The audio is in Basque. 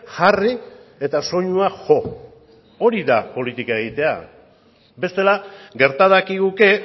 jarri eta soinua jo hori da politika egitea bestela gerta dakiguke